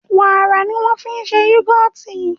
wàrà ní wan fí ṣe yugọti